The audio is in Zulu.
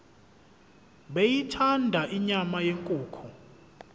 beyithanda inyama yenkukhu